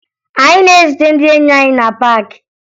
Anyị na-ezute ndị enyi anyị na paakị